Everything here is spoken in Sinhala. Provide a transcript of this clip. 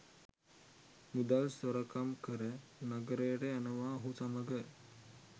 මුදල් සොරකම් කර නගරයට යනවා ඔහු සමග